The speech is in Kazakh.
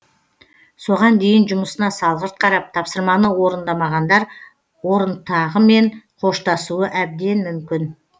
соған дейін жұмысына салғырт қарап тапсырманы орындамағандар орынтағымен қоштасуы әбден мүмкін